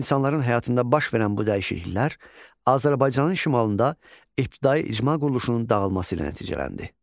İnsanların həyatında baş verən bu dəyişikliklər Azərbaycanın şimalında ibtidai icma quruluşunun dağılması ilə nəticələndi.